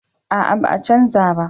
A'a ba za a canja ba